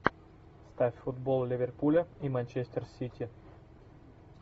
ставь футбол ливерпуля и манчестер сити